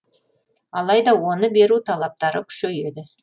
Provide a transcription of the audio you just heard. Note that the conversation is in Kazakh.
алайда оны беру талаптары күшейеді